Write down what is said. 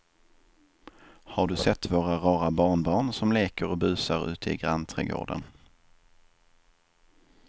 Har du sett våra rara barnbarn som leker och busar ute i grannträdgården!